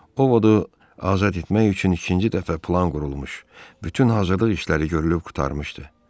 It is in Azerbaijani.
Orodu azad etmək üçün ikinci dəfə plan qurulmuş, bütün hazırlıq işləri görülüb qurtarmışdı.